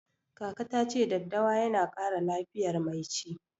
Kaka ta ce daddawa yana ƙara lafiyar mai ci.